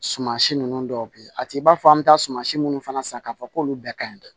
Suman si ninnu dɔw bɛ yen a t'i b'a fɔ an bɛ taa suma si minnu fana san k'a fɔ k'olu bɛɛ ka ɲi dɛ